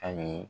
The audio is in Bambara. Ayi